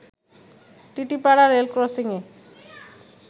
Titipara রেলক্রসিংয়ে